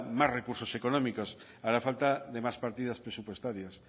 más recursos económicos hará falta de más partidas presupuestarias